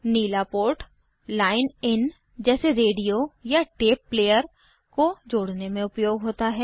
Neela port line in जैसे radio या tape player को जोड़ने में उपयोग होता है